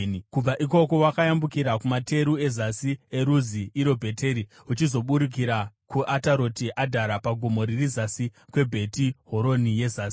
Kubva ikoko wakayambukira kumateru ezasi kweRuzi (iro Bheteri) uchizoburukira kuAtaroti Adhari pagomo riri zasi kweBheti Horoni yezasi.